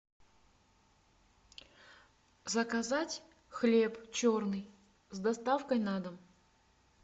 заказать хлеб черный с доставкой на дом